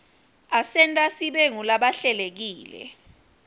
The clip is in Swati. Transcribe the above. asenta sibe ngulabahlelekile